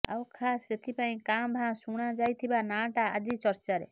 ଆଉ ଖାସ୍ ସେଇଥିପାଇଁ କାଁ ଭାଁ ଶୁଣାଯାଇଥିବା ନାଁଟା ଆଜି ଚର୍ଚ୍ଚାରେ